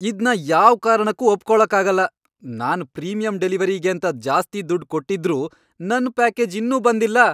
ಇದ್ನ ಯಾವ್ ಕಾರಣಕ್ಕೂ ಒಪ್ಕೊಳಕ್ಕಾಗಲ್ಲ! ನಾನ್ ಪ್ರೀಮಿಯಂ ಡೆಲಿವರಿಗೇಂತ ಜಾಸ್ತಿ ದುಡ್ಡ್ ಕೊಟ್ಟಿದ್ರೂ ನನ್ ಪ್ಯಾಕೇಜ್ ಇನ್ನೂ ಬಂದಿಲ್ಲ!